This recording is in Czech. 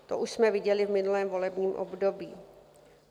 To už jsme viděli v minulém volebním období.